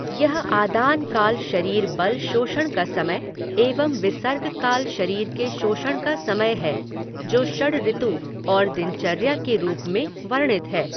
यह आदान काल शरीर बल शोषण का समय एवं विसर्गकाल शरीर के पोषण का समय है जो षडऋतु और दिनचर्या के रूप में वर्णित है।